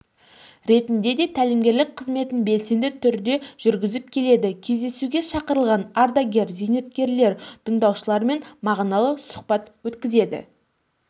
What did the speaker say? ретінде де тәлімгерлік қызметін белсенді түрде жүргізіп келеді кездесуге шақырылған ардагер-зейнеткерлер тыңдаушылармен мағыналы сұхбат өткізді